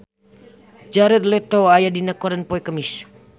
Jared Leto aya dina koran poe Kemis